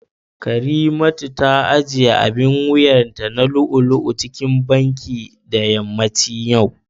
karimat ta ajiye abin wuyanta na lu'u-lu'u cikin Banki da yammacin yau